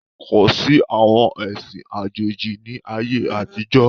Kosi àwọn ẹṣin àjòjì ni ayé àtijọ́